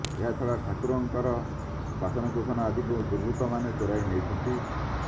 ଏହାଛଡା ଠାକୁରଙ୍କର ବାସନକୁସନ ଆଦିକୁ ଦୁର୍ବୁର୍ତ୍ତ ମାନେ ଚୋରାଇ ନେଇଛନ୍ତି